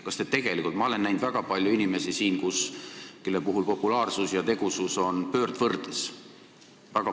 Ma olen näinud siin väga palju inimesi, kelle puhul populaarsus ja tegusus on pöördvõrdes.